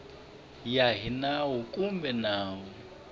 ya hi nawu kumbe nawu